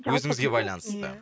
өзіңізге байланысты